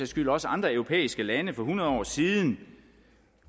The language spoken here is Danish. skyld også andre europæiske lande for hundrede år siden